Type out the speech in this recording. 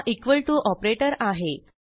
हा equal to operator आहे